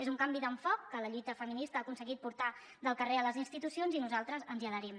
és un canvi d’enfocament que la lluita feminista ha aconseguit portar del carrer a les institucions i nosaltres ens hi adherim